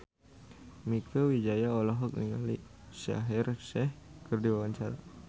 Mieke Wijaya olohok ningali Shaheer Sheikh keur diwawancara